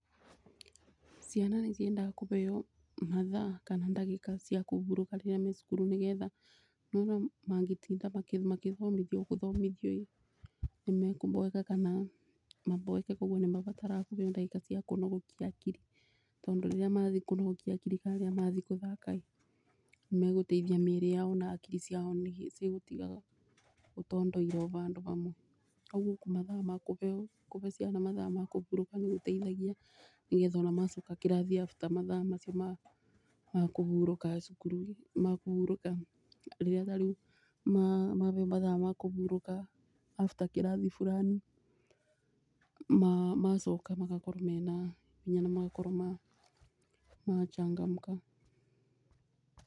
Ciana nĩ ciendaga kũbeo mathaa kana ndagĩka cia kũburũka rĩrĩa me cukuru nĩ getha, nĩ wona mangĩtinda makĩthomithio gũthomithio ĩ nĩ mekũboeka kana maboeke. Koguo nĩ mabataraga kũbeo ndagĩka cia kũnogokia hakiri, tondũ rĩrĩa mathiĩ kũnogokia hakiri kana mathi gũthaka ĩ nĩ megũteithia mĩrĩ yao na hakiri ciao nĩ cigũtiga gũtondoira o bandũ bamwe. Koguo mathaa ma kũbeo, kũbe ciana mathaa ma kũbũrũka nĩ gũteithagia nĩ getha ona macoka kĩrathi after mathaa macio ma kũhurũka cukũru-inĩ, makũhúurũka, rĩrĩa tarĩu mabeo mathaa ma kũburũka after kĩrathi burani macoka makorwo mena hinya na makorwo machangamka.